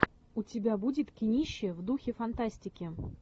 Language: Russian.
у тебя будет кинище в духе фантастики